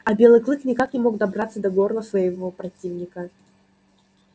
а белый клык никак не мог добраться до горла своего противника